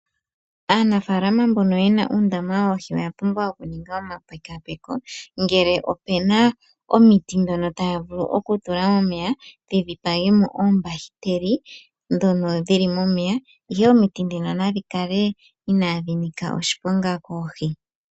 Aanafaalama mboka yena uundama woohi oya pumbwa okuninga omapekaapeko ngele opuna omiti dhono taya vulu oku tula omeya, dhi dhipage mo oombahiteli ndhono dhili momeya, ihe omiti dhino nadhi kale inaadhi nika oshiponga koohi.